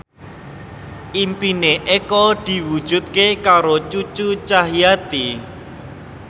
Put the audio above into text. impine Eko diwujudke karo Cucu Cahyati